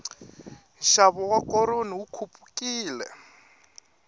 nxavo wa koroni wu khupukile